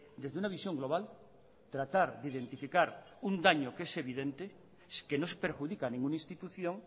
desde una visión global tratar de identificar un daño que es evidente que no se perjudica ninguna institución